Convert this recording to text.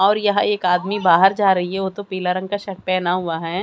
और यह एक आदमी बाहर जा रही वो तो पीला रंग का शर्ट पहेना हुआ है।